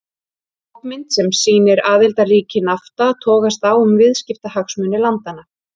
Skopmynd sem sýnir aðildarríki Nafta togast á um viðskiptahagsmuni landanna.